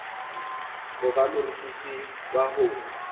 ho ba morutisi wa ho